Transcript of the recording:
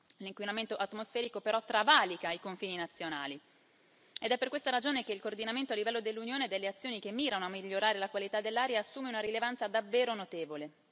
L'inquinamento atmosferico però travalica i confini nazionali ed è per questa ragione che il coordinamento a livello dell'Unione delle azioni che mirano a migliorare la qualità dell'aria assume una rilevanza davvero notevole.